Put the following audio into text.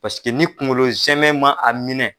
Pasike ni kungolo zɛmɛ man a minɛn.